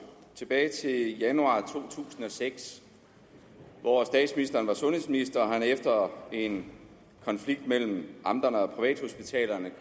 tilbage til januar to tusind og seks hvor statsministeren var sundhedsminister og han efter en konflikt mellem amterne og privathospitalerne